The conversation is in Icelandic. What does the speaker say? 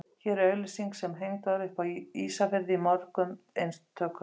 Hér er auglýsing sem hengd var upp á Ísafirði í mörgum eintökum.